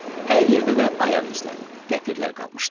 Hər yerdə də ayaq izləri, dəpirlər qalmışdı.